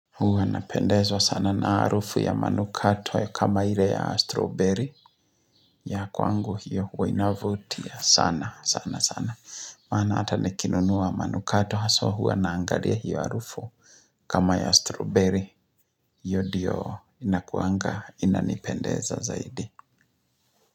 Huwa napendezwa sana na harufu ya manukato ya kama ile ya strawberry ya kwangu hiyo huwa inavutia sana sana sana. Maana hata nikinunua manukato haswa huwa naangalia hiyo harufu. Kama ya strawberry hiyo diyo inakuanga inanipendeza zaidi.